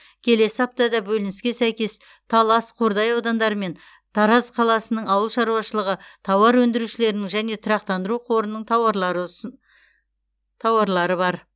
келесі аптада бөлініске сәйкес талас қордай аудандары мен тараз қаласының ауыл шаруашылығы тауар өндірушілерінің және тұрақтандыру қорының тауарлары бар